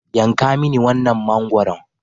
Yanka mini wannan mangwaron.